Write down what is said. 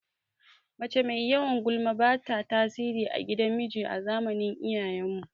Mace mai yawan gulma bata tasiri a gidan miji a zamanin iyayen mu